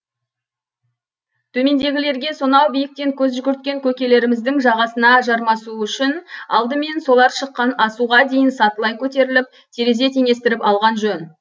төмендегілерге сонау биіктен көз жүгірткен көкелеріміздің жағасына жармасу үшін алдымен солар шыққан асуға дейін сатылай көтеріліп терезе теңестіріп алған жөн